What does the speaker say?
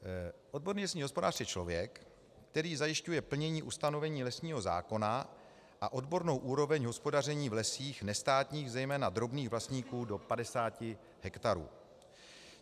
Odborný lesní hospodář je člověk, který zajišťuje plnění ustanovení lesního zákona a odbornou úroveň hospodaření v lesích nestátních, zejména drobných vlastníků do 50 hektarů.